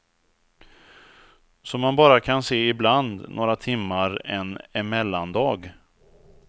Som man bara kan se ibland, några timmar en emellandag.